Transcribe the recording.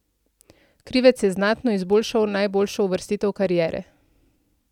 Krivec je znatno izboljšal najboljšo uvrstitev kariere.